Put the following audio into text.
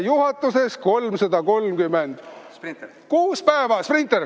Juhatuses 336 päeva.